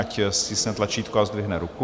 Ať stiskne tlačítko a zdvihne ruku.